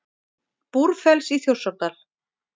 Búrfells í Þjórsárdal.